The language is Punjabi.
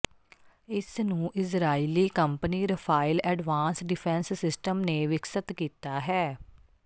ਇਸ ਨੂੰ Israeli company Rafael advance defence system ਨੇ ਵਿਕਸਤ ਕੀਤਾ ਹੈ